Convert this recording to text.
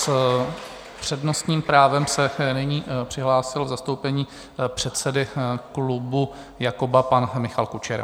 S přednostním právem se nyní přihlásil v zastoupení předsedy klubu Jakoba pan Michal Kučera.